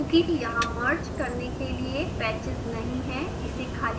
चूँकि यहाँ मर्ज करने के लिए पैचेस नहीं हैं इसे खाली रखा जा सकता है